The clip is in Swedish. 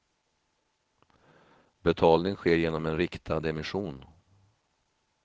Betalning sker genom en riktad emission.